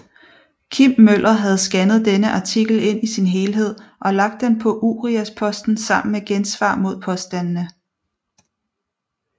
Kim Møller havde scannet denne artikel ind i sin helhed og lagt den på Uriasposten sammen med gensvar mod påstandene